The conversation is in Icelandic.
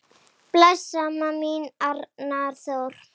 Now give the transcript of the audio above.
Bless, amma mín, Arnar Þór.